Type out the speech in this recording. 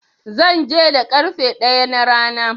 Zan je da ƙarfe ɗaya na rana.